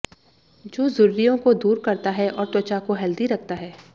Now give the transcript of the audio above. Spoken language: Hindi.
जो झुर्रियों को दूर करता है और त्वचा को हेल्दी रखता है